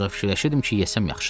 Ancaq fikirləşirdim ki, yesəm yaxşıdır.